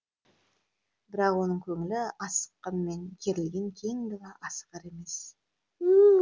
бірақ оның көңілі асыққанмен керілген кең дала асығар емес